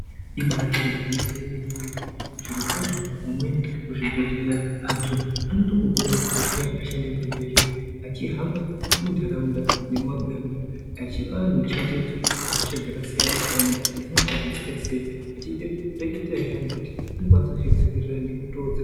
Imatoru gwinyiso yemene mene zviro kwazvo vamweni muzvibhedhleya antu anotombobuda muzvibhedhleya achiendende muzvibhedhleya achihamba muntharaunda nemumabuya medu achipa antu chenjedzo yehosha dzakasiyana siyana kuti dzinotapudzika sei achireketera anthu kuti anokwanisa kuzvidziirira nemitoo dzaka...